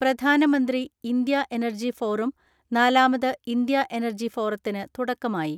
പ്രധാനമന്ത്രി, India energy forum, നാലാമത് India energy ഫോറത്തിന് തുടക്കമായി.